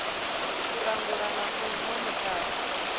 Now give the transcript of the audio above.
u langula na u monithara